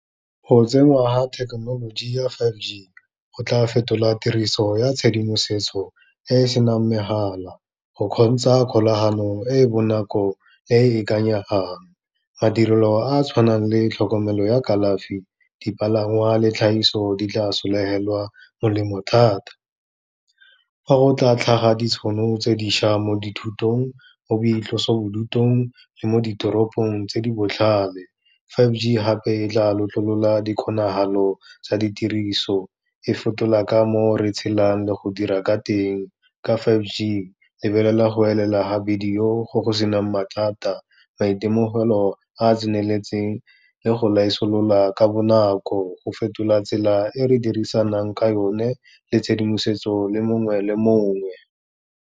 Go tsenngwa ga thekenoloji ya five G, go tla fetola tiriso ya tshedimosetso e e senang megala, go kgontsha kgolaganong e e bonako e e ikanyegang, madirelo a a tshwanang le tlhokomelo ya kalafi, dipalangwa le tlhagiso, di tla solofelwa molemo thata. Fa go tla tlhaga ditšhono tse dišwa mo dithutong, mo boitlosobodutung le mo ditoropong, tse di botlhale, five G gape e tla lotlololang dikgonagalo tsa ditiriso, e fetola ka mo re tshelang le go dira ka teng. Ka five G, e lebelela go elela ga bidio go go se nang mathata, maitemogelo a a tseneletseng le go laisolola ka bonako, go fetola tsela e re dirisanang ka yone, le tshedimosetso le mongwe le mongwe.